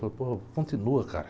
Falei, pô, continua, cara.